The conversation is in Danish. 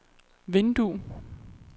vindue